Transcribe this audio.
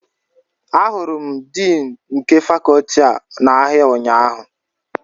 Ahụrụ m Din nke Fakọọti a n'ahịa ụnyahụ